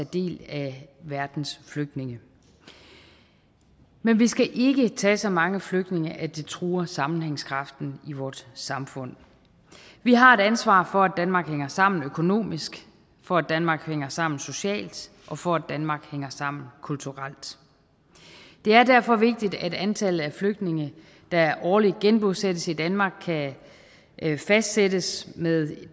del af verdens flygtninge men vi skal ikke tage så mange flygtninge at det truer sammenhængskraften i vort samfund vi har et ansvar for at danmark hænger sammen økonomisk for at danmark hænger sammen socialt og for at danmark hænger sammen kulturelt det er derfor vigtigt at antallet af flygtninge der årligt genbosættes i danmark kan fastsættes med